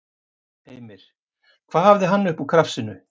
Heimir: Hvað hafði hann upp úr krafsinu?